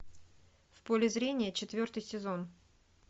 в поле зрения четвертый сезон